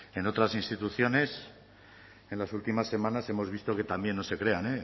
en otras instituciones en las últimas semanas hemos visto que también no se crean